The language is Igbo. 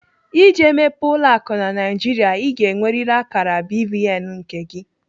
Iji mepee ụlọ akụ na Naijiria, Ị ga-enweriri akara BVN nke gị.